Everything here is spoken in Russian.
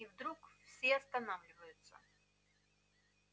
и вдруг все останавливаются